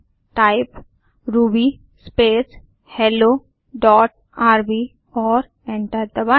type Ruby space hello dot RB और enter दबाएँ